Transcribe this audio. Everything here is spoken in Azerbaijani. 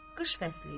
Qış fəsli idi.